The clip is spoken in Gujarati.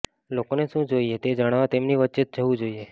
લોકોને શું જોઈએ છે તે જાણવા તેમની વચ્ચે જવું જોઈએ